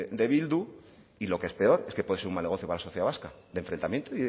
de bildu y lo que es peor es que puede ser un mal negocio para la sociedad vasca de enfrentamiento